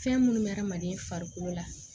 Fɛn minnu bɛ adamaden farikolo la